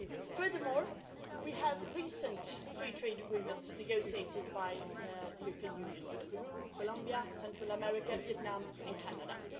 Furthermore, we have recent free trade agreements negotiated by the European Union with Peru, Colombia, Central America, Vietnam and Canada.